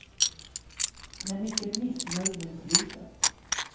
Han är mycket missnöjd med beslutet.